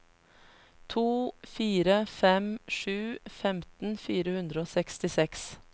to fire fem sju femten fire hundre og sekstiseks